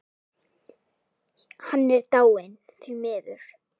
Hann er dáinn, því miður.